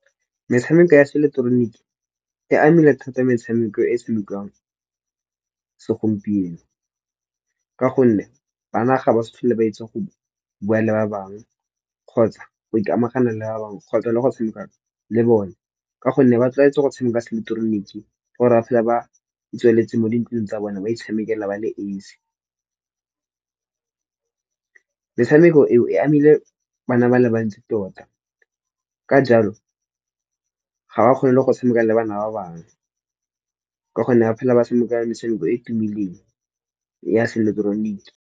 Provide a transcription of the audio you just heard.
Metshameko ya se ileketeroniki e amile thata metshameko e e tshamekiwang segompieno. Ka gonne bana ga ba sa tlhole ba itsi go bua le ba bangwe kgotsa go ikamana le ba bangwe kgotsa le go tshameka le bone. Ka gonne ba tlwaetse go tshameka se ileketeroniki or-e after ba itswaletse mo dintlong tsa bona ba itshamekela ba le esi. Metshameko eo e amile bana ba le bantsi tota ka jalo ga ba kgone le go tshameka le bana ba bangwe, ka gonne ba phela ba tshameka metshameko e e tumileng ya se ileketeroniki.